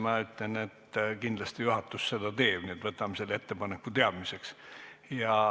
Ma ütlen, et kindlasti juhatus seda teeb, nii et võtame selle ettepaneku teadmiseks.